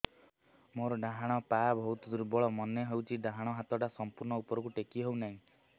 ମୋର ଡାହାଣ ପାଖ ବହୁତ ଦୁର୍ବଳ ମନେ ହେଉଛି ଡାହାଣ ହାତଟା ସମ୍ପୂର୍ଣ ଉପରକୁ ଟେକି ହେଉନାହିଁ